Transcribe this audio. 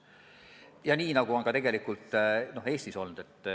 Ja nii on tegelikult ka Eestis olnud.